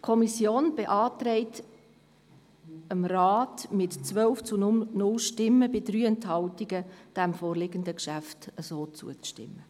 Die Kommission beantragt dem Rat mit 12 zu 0 Stimmen bei 3 Enthaltungen, dem vorliegenden Geschäft zuzustimmen.